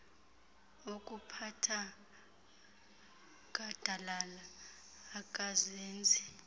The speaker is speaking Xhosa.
okuphatha gadalala angazenzi